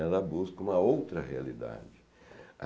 Ela busca uma outra realidade.